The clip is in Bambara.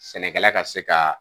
Sɛnɛkɛla ka se ka